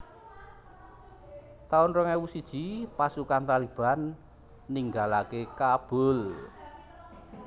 taun rong ewu siji Pasukan Taliban ninggalaké Kabul